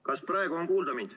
Kas praegu on mind kuulda?